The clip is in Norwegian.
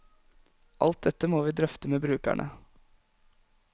Alt dette må vi drøfte med brukerne.